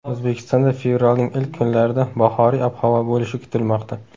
O‘zbekistonda fevralning ilk kunlarida bahoriy ob-havo bo‘lishi kutilmoqda.